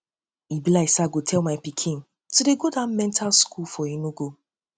e be like say i go tell my pikin to dey go dat mental school for enugu